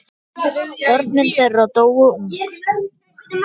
Börn þeirra dóu ung.